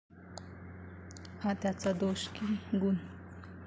हा त्यांचा दोष की गुण?